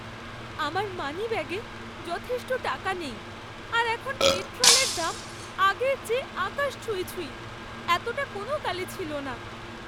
আমার মানিব্যাগে যথেষ্ট টাকা নেই আর এখন পেট্রোলের দাম আগের চেয়ে আকাশ ছুঁই ছুঁই, এতটা কোনোকালে ছিল না।